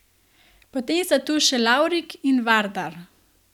Potem sta tu še Larvik in Vardar.